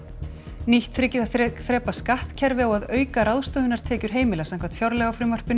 nýtt þriggja þrepa þrepa skattkerfi á að auka ráðstöfunartekjur heimila samkvæmt fjárlagafrumvarpinu